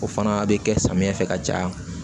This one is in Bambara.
O fana bɛ kɛ samiyɛ fɛ ka caya